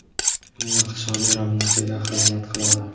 uning iqtisodiy ravnaqiga xizmat qiladi.